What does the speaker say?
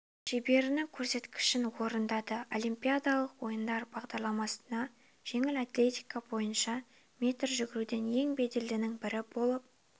шеберінің көрсеткішін орындады олимпиадалық ойындар бағдарламасына жеңіл атлетика бойынша метр жүгіруден ең беделдінің бірі болып